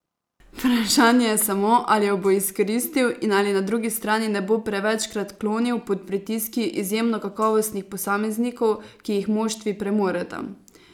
Vprašanje je samo, ali ju bo izkoristil in ali na drugi strani ne bo prevečkrat klonil pod pritiski izjemno kakovostnih posameznikov, ki jih moštvi premoreta.